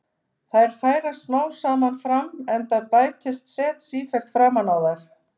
Þær færast smám saman fram enda bætist set sífellt framan á þær.